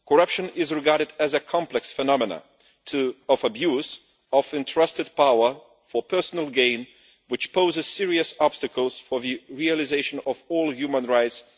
Corruption is regarded as a complex phenomenon of abuse of entrusted power for personal gain, which poses serious obstacles for the realisation of all human rights.